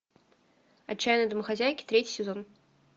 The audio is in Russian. отчаянные домохозяйки третий сезон